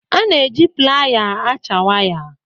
A na-eji playa acha waya.